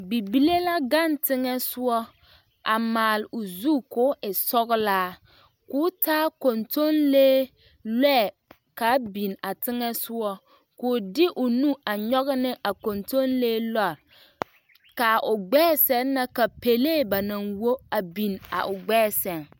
Bibile la gaŋ teŋɛsugɔ a maale o zu koo e sɔglaa koo taa kontonlee lɔɛ kaa biŋ a teŋɛsugɔ koo de o nu a nyoge ne a kontonlee lɔre kaa o gbɛɛ sɛŋ na pɛlee ba naŋ wo a biŋ a o gbɛɛ sɛŋ.